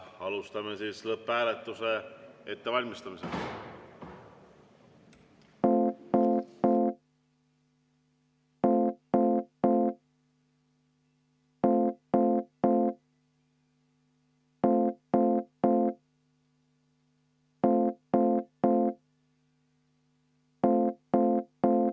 Alustame lõpphääletuse ettevalmistamist.